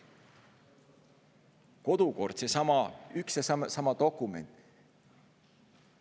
Kodukord on seesama, üks ja sama dokument.